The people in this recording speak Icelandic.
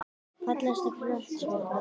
Fallegasta knattspyrnukonan?